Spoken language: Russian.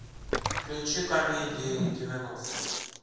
включи комедии девяностых